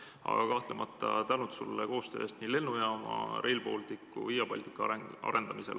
Aga kahtlemata suur tänu sulle koostöö eest nii lennujaama, Rail Balticu kui ka Via Baltica arendamisel!